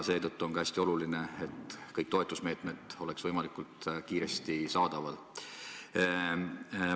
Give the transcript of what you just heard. Seetõttu on hästi oluline, et kõik toetusmeetmed oleksid võimalikult kiiresti saadaval.